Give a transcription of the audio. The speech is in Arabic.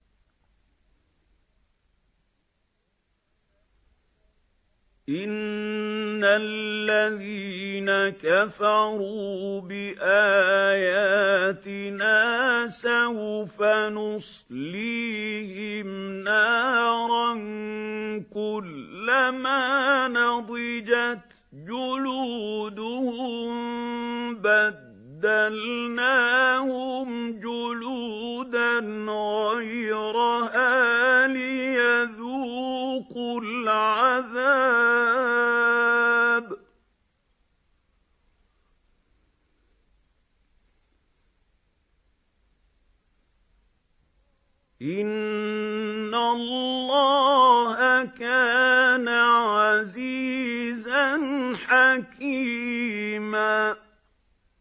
إِنَّ الَّذِينَ كَفَرُوا بِآيَاتِنَا سَوْفَ نُصْلِيهِمْ نَارًا كُلَّمَا نَضِجَتْ جُلُودُهُم بَدَّلْنَاهُمْ جُلُودًا غَيْرَهَا لِيَذُوقُوا الْعَذَابَ ۗ إِنَّ اللَّهَ كَانَ عَزِيزًا حَكِيمًا